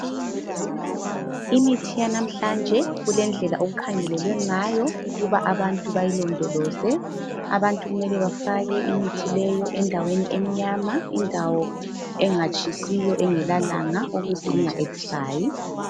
Imithi yanamhlanje kulendlela okukhangelelwe ngayo ukuba abantu bazilondoloze, abantu kumele bafake imithi leyo endaweni emnyama indawo engatshisiyo engela langa ukuze inga expayi.